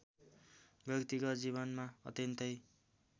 व्यक्तिगत जीवनमा अत्यन्तै